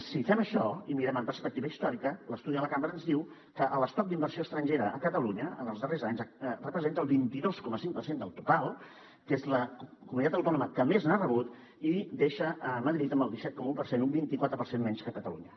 si fem això i mirem amb perspectiva històrica l’estudi de la cambra ens diu que l’estoc d’inversió estrangera a catalunya en els darrers anys representa el vint dos coma cinc per cent del total que és la comunitat autònoma que més n’ha rebut i deixa madrid amb el disset coma un per cent un vint quatre per cent menys que catalunya